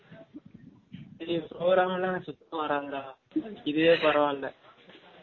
டெய் program லா எனக்கு சுத்தம் வராது டா அதுக்கு இதுவே பரவால